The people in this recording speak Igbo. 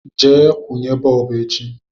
Je kwunye bọọbụ echi